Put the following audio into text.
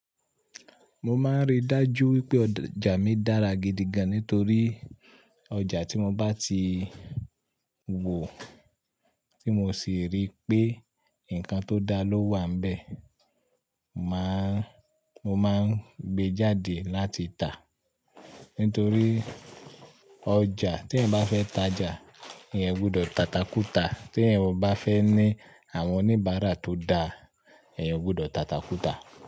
Mo máa ń rí dájú wípé ọjà mi dára gidi gan-an nítorí ọjà tí mo bá ti wò, tí mo sì rí pé ǹkan tó dá ló wà bẹ́ẹ̀, màá Mo máa ń gbé e jáde láti tàá. Nítorí ọjà tí ẹ̀ ń bá fẹ́ tajà, ẹ̀ ò gbọdọ̀ tata kúta. Tí ẹ̀ ò bá fẹ́ ní àwọn oníbàárà tó dáa, ẹ̀ ò gbọdọ̀ tata kúta.